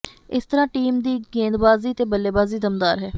ਇਸ ਤਰ੍ਹਾਂ ਟੀਮ ਦੀ ਗੇਂਦਬਾਜ਼ੀ ਤੇ ਬੱਲੇਬਾਜ਼ੀ ਦਮਦਾਰ ਹੈ